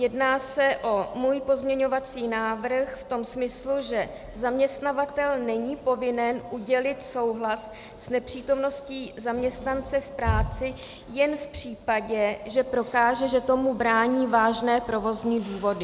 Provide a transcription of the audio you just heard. Jedná se o můj pozměňovací návrh v tom smyslu, že zaměstnavatel není povinen udělit souhlas s nepřítomností zaměstnance v práci jen v případě, že prokáže, že tomu brání vážné provozní důvody.